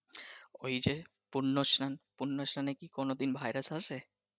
ওইযে পূর্ণ স্লান পূর্ণ স্লানে কি কোনদিন ভাইরাস আছে ।